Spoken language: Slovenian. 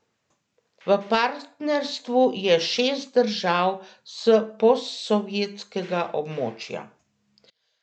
V partnerstvu je šest držav s posovjetskega območja.